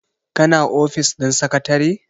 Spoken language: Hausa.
kana ofis ɗin sakatare?